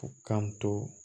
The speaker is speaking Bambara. U k'an to